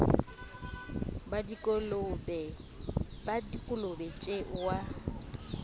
ba dikolobe tje o a